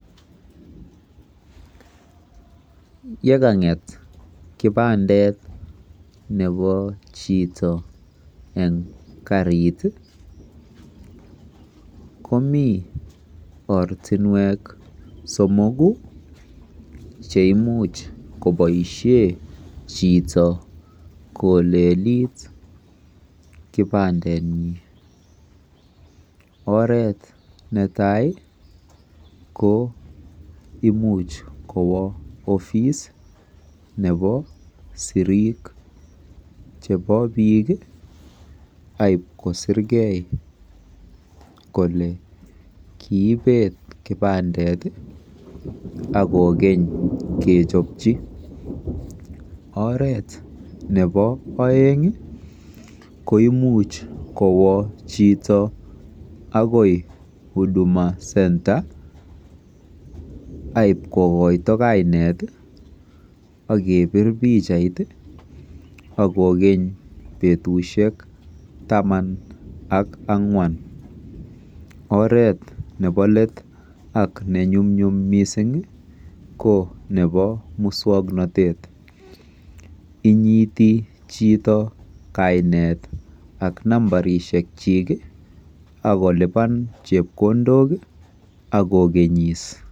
Yekang'et kipandet nepo chito eng karit komi ortinwek cheimuch koboisie chito kolelit kipandetnyi. Oret netai ko imuch kowo ofis nebo siriik chebo biik akipkosirkei kole kiipet kipandeti akokeny kechopchi. Oret nebo oeng koimuch kowo chito akoi Huduma Centre aipkokoito kainet akepir picha akokeny betusiek taman ak ang'wan. Oret nebo somok ak nenyumnyum mising ko nebo muswoknotet. Inyiiti chito kainet ak nambarisikchi akolipan chepkondok akokenyis.